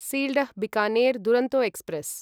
Sealdah Bikaner Duronto express